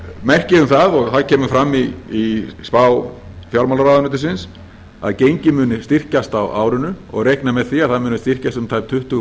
merki um það og það kemur fram í spá fjármálaráðuneytisins að gengið muni styrkjast á árinu og reiknað með því að það muni styrkjast um tæp tuttugu